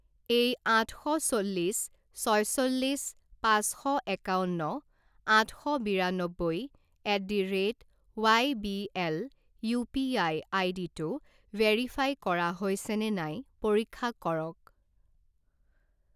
এই আঠ শ চল্লিছ ছয়চল্লিছ পাঁচ শ একাৱন্ন আঠ শ বিৰান্নব্বৈ at the rate Y B L UPI আইডিটো ভেৰিফাই কৰা হৈছেনে নাই পৰীক্ষা কৰক।